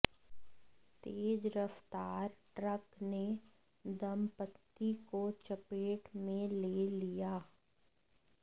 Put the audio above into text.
तेज रफ़्तार ट्रक ने दंपत्ति को चपेट में ले लिया